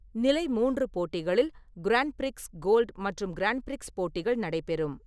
நிலை மூன்று போட்டிகளில் கிராண்ட் பிரிக்ஸ் கோல்ட் மற்றும் கிராண்ட் பிரிக்ஸ் போட்டிகள் நடைபெறும்.